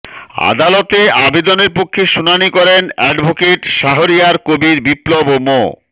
আদালতে আবেদনের পক্ষে শুনানি করেন অ্যাডভোকেট শাহরিয়ার কবির বিপ্লব ও মো